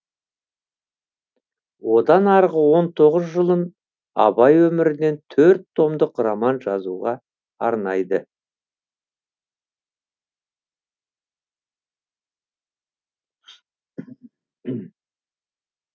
одан арғы он тоғыз жылын абай өмірінен төрт томдық роман жазуға арнайды